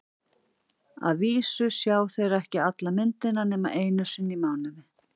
Að vísu sjá þeir ekki alla myndina nema einu sinni í mánuði.